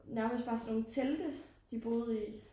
Nærmest bare sådan nogle telte de boede i